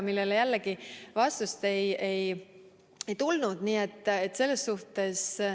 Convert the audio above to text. Sellele jällegi vastust ei tulnud.